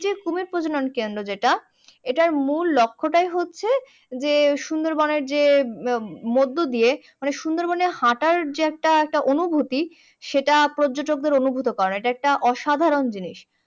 কুমির প্রজনন কেন্দ্র যেটা এটার মূল লক্ষ্য টাই হচ্ছে যে সুন্দর বনের যে মধ্য দিয়ে মানে সুন্দর বনে হাঁটার যে একটা একটা অনুভূতি সেটা পর্যটকদের অনুভূত করা এটা একটা সাধারণ জিনিস